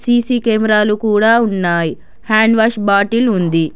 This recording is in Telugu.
సీ_సీ కెమెరాలు కూడా ఉన్నాయి హ్యాండ్ వాష్ బాటిల్ ఉంది.